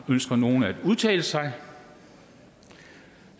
ønsker nogen at udtale sig da